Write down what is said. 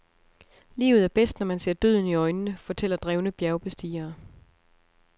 Livet er bedst, når man ser døden i øjnene, fortæller drevne bjergbestigere.